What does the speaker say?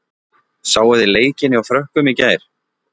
Sáuð þið leikinn hjá Frökkum í gær?